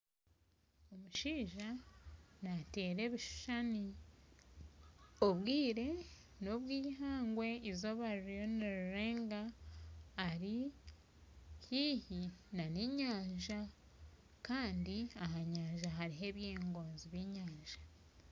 Omushaija naatera ebishushani. Obwire n'obwa eihangwe eizooba ririyo nirirenga, ari haihi n'enyanja kandi aha nyanja hariho ebingozi by'enyanja